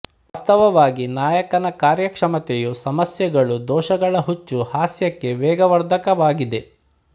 ವಾಸ್ತವವಾಗಿ ನಾಯಕನ ಕಾರ್ಯಕ್ಷಮತೆಯ ಸಮಸ್ಯೆಗಳು ದೋಷಗಳ ಹುಚ್ಚು ಹಾಸ್ಯಕ್ಕೆ ವೇಗವರ್ಧಕವಾಗಿದೆ